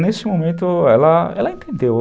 Nesse momento, ela, ela entendeu.